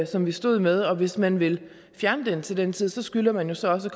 som vi stod med og hvis man vil fjerne loven til den tid skylder man jo så også